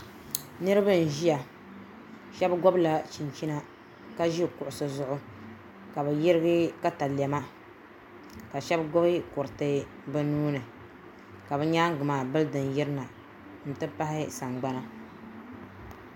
Niraba n ʒiya shab gobla chinchina ka ʒi kuɣusi zuɣu ka bi yirigi katalɛma ka shab gbubi kuriti bi nuuni ka bi nyaangi maa bildin yirina n ti pahi sagbana